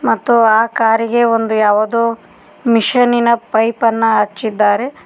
ಮತ್ತು ಆ ಕಾರಿಗೆ ಒಂದು ಯಾವುದೋ ಮಿಶಿನಿ ನ ಪೈಪ ನ್ನು ಅಚ್ಚಿದ್ದಾರೆ.